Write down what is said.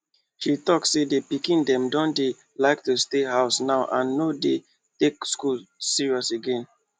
she talk say the pikin dem don dey like to stay house now and no dey take school serious again